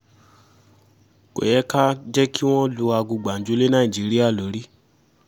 kò yẹ ká jẹ́ kí wọ́n lu aago gbàǹjo lé nàìjíríà lórí